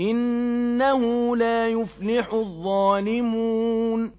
إِنَّهُ لَا يُفْلِحُ الظَّالِمُونَ